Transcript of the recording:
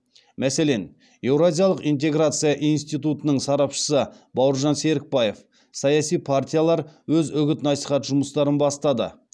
мәселен еуразиялық интеграция институтының сарапшысы бауыржан серікбаев саяси партиялар өз үгіт насихат жұмыстарын бастады